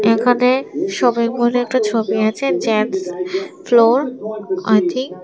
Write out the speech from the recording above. এখানে শপিং মলে একটা ছবি আছে ।